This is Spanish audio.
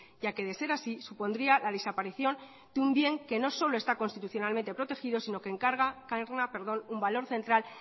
ya que de ser así supondría la desaparición de un bien que no solo está constitucionalmente protegido sino que encarna un valor central